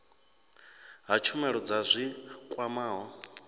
ha tshumelo dza zwi kwamaho